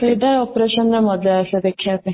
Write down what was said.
ସେଇଟା operation ରେ ମଜା ଆସେ ଦେଖିବା ପାଇଁ